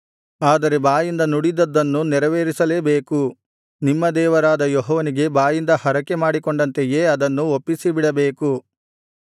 ಆದರೆ ಬಾಯಿಂದ ನುಡಿದದ್ದನ್ನು ನೆರವೇರಿಸಲೇಬೇಕು ನಿಮ್ಮ ದೇವರಾದ ಯೆಹೋವನಿಗೆ ಬಾಯಿಂದ ಹರಕೆಮಾಡಿಕೊಂಡಂತೆಯೇ ಅದನ್ನು ಒಪ್ಪಿಸಿಬಿಡಬೇಕು